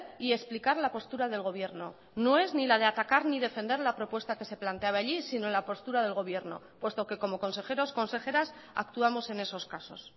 y explicar la postura del gobierno no es ni la de atacar ni defender la propuesta que se planteaba allí sino la postura del gobierno puesto que como consejeros consejeras actuamos en esos casos